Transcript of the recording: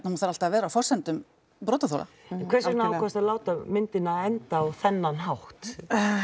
hún þarf alltaf að vera á forsendum brotaþola en hvers vegna ákvaðstu að láta myndina enda á þennan hátt